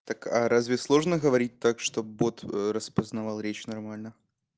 так а разве сложно говорить так чтобы бот распознавал речь нормально